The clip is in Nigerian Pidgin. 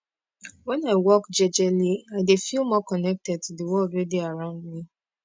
wen i walk jejeli i dey feel more connected to de world wey dey around me